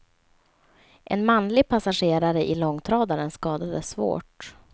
En manlig passagerare i långtradaren skadades svårt.